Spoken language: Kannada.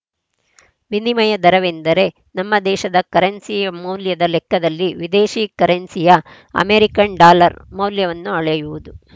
ವಿನಿಮಯ ದರವೆಂದರೆ ನಮ್ಮ ದೇಶದ ಕರೆನ್ಸಿಯ ಮೌಲ್ಯದ ಲೆಕ್ಕದಲ್ಲಿ ವಿದೇಶಿ ಕರೆನ್ಸಿಯ ಅಮೆರಿಕನ್‌ ಡಾಲರ್‌ ಮೌಲ್ಯವನ್ನು ಅಳೆಯುವುದು